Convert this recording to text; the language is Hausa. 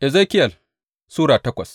Ezekiyel Sura takwas